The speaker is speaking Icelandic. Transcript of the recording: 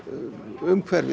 umhverfið